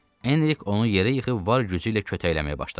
Enrik onu yerə yıxıb var gücü ilə kötəkləməyə başladı.